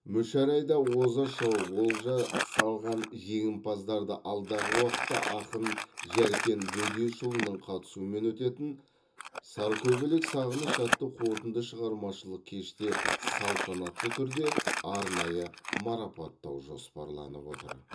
мүшәрайда оза шауып олжа салған жеңімпаздарды алдағы уақытта ақын жәркен бөдешұлының қатысуымен өтетін саркөбелек сағыныш атты қорытынды шығармашылық кеште салтанатты түрде арнайы марапаттау жоспарланып отыр